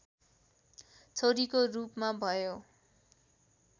छोरीको रूपमा भयो